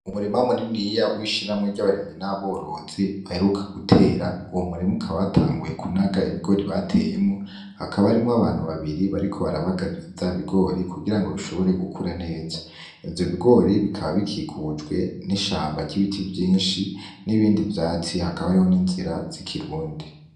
Umurima muniniya wishiramwe ry'abarimyi n'aborozi baheruka gutera uwu murimukabatanguye kunaga ibigori bateyemo hakaba arimwo abantu babiri bariko barabagarira vya bigori kugira ngo bishobore gukura neza ivyo bigori bikaba bikikujwe n'ishambo ry'ibiti vyinshi n'ibindi vyasi hakaba ariho n'inzira z'ikirundi.